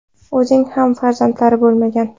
O‘zining ham farzandlari bo‘lmagan.